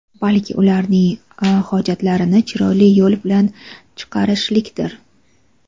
balki ularning hojatlarini chiroyli yo‘l bilan chiqarishlikdir.